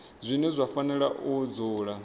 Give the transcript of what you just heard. zwine zwa fanela u dzula